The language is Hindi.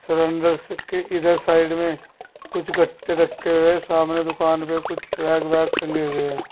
के इधर साइड में कुछ गट्टे रखे हुए है सामने दुकान पे कुछ बैग वैग टंगे हुए है।